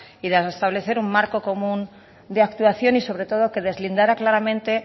y de establecer un marco común de actuación y sobre todo que deslindara claramente